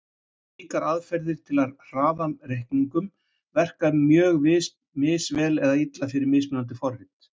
Slíkar aðferðir til að hraða reikningum verka mjög misvel eða illa fyrir mismunandi forrit.